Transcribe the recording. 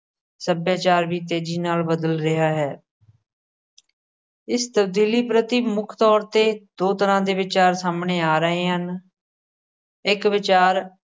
ਸੱਭਿਆਚਾਰ ਵੀ ਤੇਜ਼ੀ ਨਾਲ ਬਦਲ ਰਿਹਾ ਹੈ। ਇਸ ਤਬਦੀਲੀ ਪ੍ਰਤੀ ਮੁਖ ਤੋਰ ਤੇ ਦੋ ਤਰਾਂ ਦੇ ਵਿਚਾਰ ਸਾਹਮ੍ਹਣੇ ਆ ਰਹੇ ਹਨ। ਇੱਕ ਵਿਚਾਰ